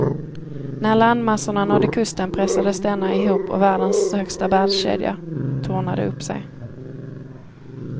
När landmassorna nådde kusten pressades denna ihop och världens högsta bergskedja tornade upp sig.